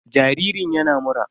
Jaririn yana mura.